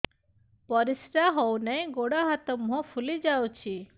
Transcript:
ପରିସ୍ରା ହଉ ନାହିଁ ଗୋଡ଼ ହାତ ମୁହଁ ଫୁଲି ଯାଉଛି